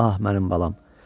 Ah mənim balam.